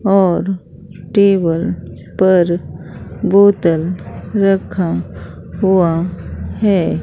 और टेबल पर बोतल रखा हुआ है।